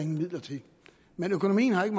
midler til men økonomien har ikke